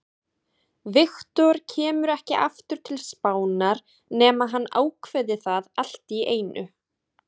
Victor kemur ekki aftur til Spánar nema hann ákveði það allt í einu.